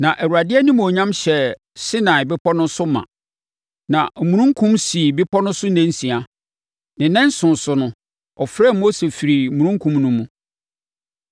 Na Awurade animuonyam hyɛɛ Sinai bepɔ no so ma. Na omununkum sii bepɔ no so nnansia. Ne nnanson so no, ɔfrɛɛ Mose firii omununkum no mu.